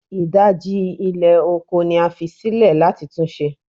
Idaji ilẹ oko ni a fi silẹ lati tun ṣe